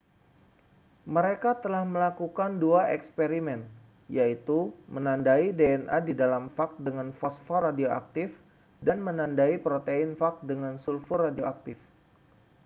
mereka telah melakukan dua eksperimen yaitu menandai dna di dalam fag dengan fosfor radioaktif dan menandai protein fag dengan sulfur radioaktif